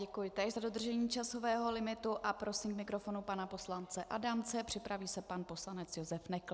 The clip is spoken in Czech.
Děkuji též za dodržení časového limitu a prosím k mikrofonu pana poslance Adamce, připraví se pan poslanec Josef Nekl.